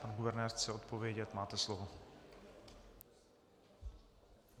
Pan guvernér chce odpovědět, máte slovo.